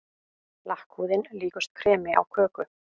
Lakkhúðin líkust kremi á köku.